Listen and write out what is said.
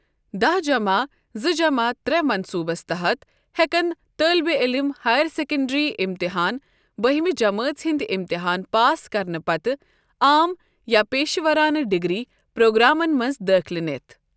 داہ جمع زٕ جمع ترےٚ منٛصوٗبس تحت ہٮ۪کن طٲلبہِ عٔلِم ہایر سیكنڈری امتحان بٔہمہِ جمٲژ ہُنٛد اِمتِحان پاس کرنہٕ پتہٕ عام یا پیشہٕ وَرانہٕ ڈِگری پرٛوگرامن منٛز دٲخلہٕ نِتھ